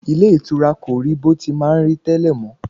Ilé ìtura kò rí bó ti má ń rí tẹ́lẹ̀ mọ́